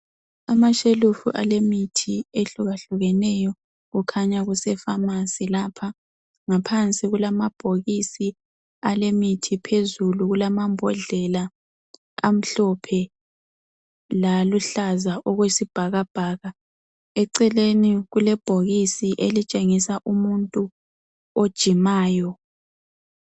Amashelufu alemithi ehlukahlukeneyo. Kukhanya kusepharmacy lapha, ngaphansi kulamabhokisi alemithi, phezulu kulamambodlela amhlophe laluhlaza okwesibhakabhaka. Eceleni kulebhokisi elitshengisa umuntu ojimayo.